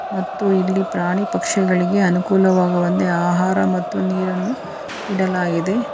ಮತ್ತು ಇಲ್ಲಿ ಪ್ರಾಣಿ ಪಕ್ಷಿಗಳಿಗೆ ಅನುಕೂಲವಾಗುವಂತೆ ಆಹಾರ ಮತ್ತು ನೀರನ್ನು ಇಡಲಾಗಿದೆ.